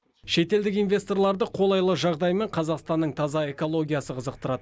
шетелдік инвесторларды қолайлы жағдай мен қазақстанның таза экологиясы қызықтырады